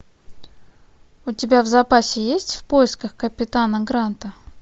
у тебя в запасе есть в поисках капитана гранта